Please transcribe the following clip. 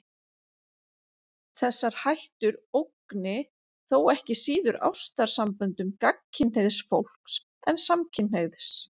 Þessar hættur ógni þó ekki síður ástarsamböndum gagnkynhneigðs fólks en samkynhneigðs.